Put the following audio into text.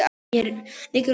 Mér liggur mikið á!